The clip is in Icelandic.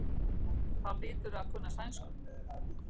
Þá hlýturðu að kunna sænsku.